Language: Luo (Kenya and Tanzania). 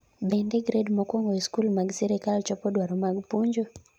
Bende gred mokwongo e skul mag sirkal chopo dwaro mag puonjo?